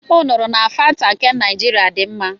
M nụrụ na Fanta nke Naịjirịa dị mma.